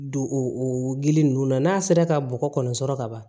Don o gili ninnu na n'a sera ka bɔgɔ kɔni sɔrɔ ka ban